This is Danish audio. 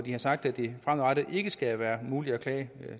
man sagt at det fremadrettet ikke skal være muligt at klage